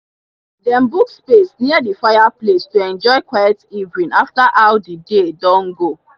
dem book space near the fireplace to enjoy quiet evening after how the day don go.